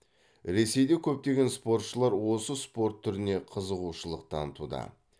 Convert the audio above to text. ресейде көптеген спортшылар осы спорт түріне қызығушылық танытуда